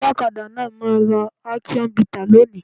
Olọ́kadà náà máa ra akion bità lónìí.